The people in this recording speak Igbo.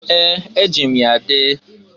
Ee! E jim ya dee.